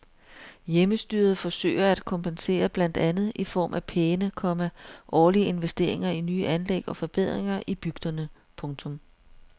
Hjemmestyret forsøger at kompensere blandt andet i form af pæne, komma årlige investeringer i nye anlæg og forbedringer i bygderne. punktum